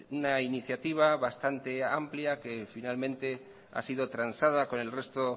una iniciativa bastante amplia que finalmente ha sido transada con el resto